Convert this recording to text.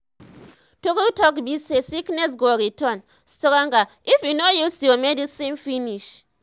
true talk be say sickness go return stonger if you no use your medicine finish